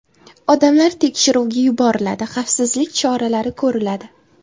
Odamlar tekshiruvga yuboriladi, xavfsizlik choralari ko‘riladi.